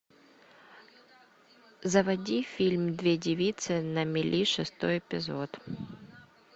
заводи фильм две девицы на мели шестой эпизод